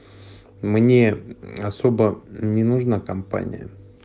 мне особо не нужна компания